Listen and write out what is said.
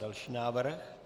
Další návrh.